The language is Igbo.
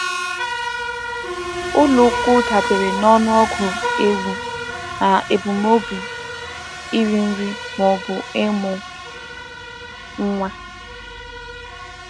Ụlọ ukwu dabeere na ọnụọgụ ewu na ebumnobi iri nri ma ọ bụ ịmụ nwa.